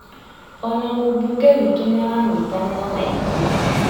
Ona mũmbunge wĩtũ nĩaranyitanĩra naithuĩ